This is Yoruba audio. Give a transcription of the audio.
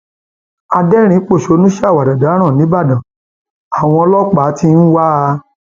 adẹrinínpọṣónú ṣàwàdà dáràn nìbàdàn àwọn ọlọpàá àwọn ọlọpàá tí ń wá a